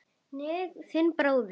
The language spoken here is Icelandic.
Þinn bróðir